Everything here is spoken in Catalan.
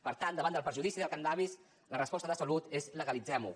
per tant davant del perjudici del cànnabis la resposta de salut és legalitzem ho